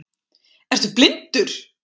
Ertu blindur!?